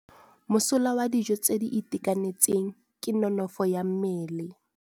Mosola wa dijô tse di itekanetseng ke nonôfô ya mmele.